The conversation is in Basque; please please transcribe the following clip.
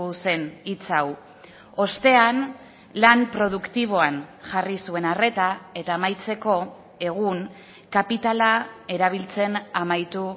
zen hitz hau ostean lan produktiboan jarri zuen arreta eta amaitzeko egun kapitala erabiltzen amaitu